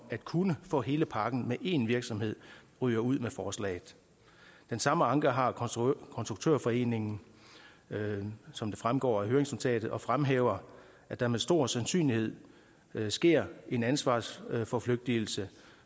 at kunne få hele pakken én virksomhed ryger ud med forslaget den samme anke har konstruktørforeningen som det fremgår af høringsnotatet der fremhæver at der med stor sandsynlighed sker en ansvarsforflygtigelse